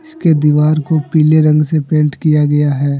इसके दीवार को पीले रंग से पेंट किया गया है।